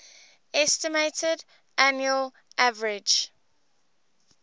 estimated annual average